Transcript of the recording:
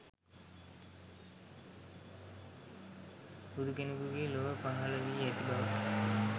බුදු කෙනෙකුගේ ලොව පහළ වී ඇති බව